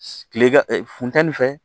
Kile ka funtɛni fɛ